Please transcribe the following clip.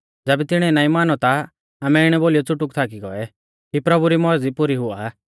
ज़ैबै तिणीऐ नाईं मानौ ता आमै इणै बोलीयौ च़ुटुक थाकी गौऐ कि प्रभु री मौरज़ी पुरी हुआ